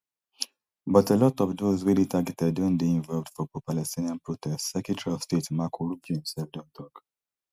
but a lot of those wey dey targeted don dey involved for propalestinian protests secretary of state marco rubio imself don tok